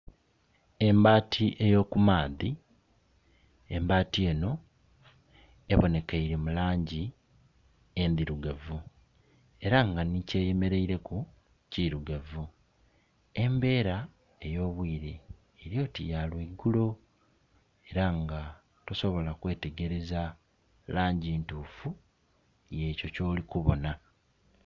Embati ey'oku maadhi, embati eno ebonekeire mu langi endhirugavu era nga ni kyeyemeleireku kirugavu. Embera ey'obwire eli oti ya lweigulo era nga tosobola kwetegereza langi ntufu y'ekyo kyoli kubonha.